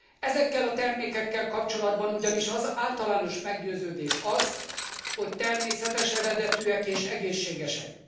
Ezekkel a termékekkel kapcsolatban ugyanis az általános meggyőződés az, hogy természetes eredetűek és egészségesek.